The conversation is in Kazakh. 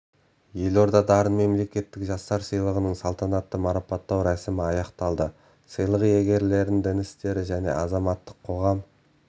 елордада дарын мемлекеттік жастар сыйлығының салтанатты марапаттау рәсімі аяқталды сыйлық иегерлерін дін істері және азаматтық қоғам